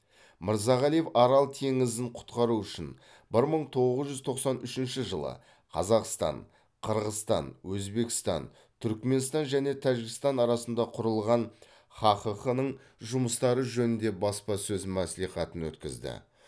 мырзағалиев арал теңізін құтқару үшін бір мың тоғыз жүз тоқсан үшінші жылы қазақстан қырғызстан өзбекстан түрікменстан және тәжікстан арасында құрылған хаққ ның жұмыстары жөнінде баспасөз мәслихатын өткізді